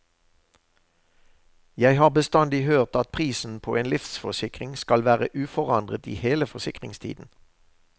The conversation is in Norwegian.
Jeg har bestandig hørt at prisen på en livsforsikring skal være uforandret i hele forsikringstiden.